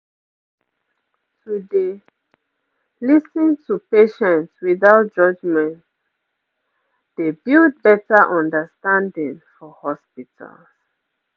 to dey lis ten to patients without judgement pause dey build better understanding for hospitals